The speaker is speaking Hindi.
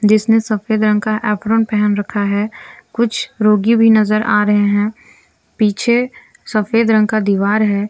इसने सफेद रंग का एप्रन पहन रखा है कुछ रोगी भी नजर आ रहे हैं पीछे सफेद रंग का दीवार है।